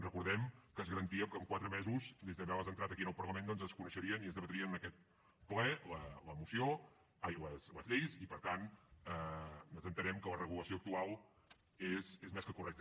recordem que es garantia que en quatre mesos des d’haver les entrat aquí al parlament doncs es coneixerien i es debatrien en aquest ple les lleis i per tant entenem que la regulació actual és més que correcta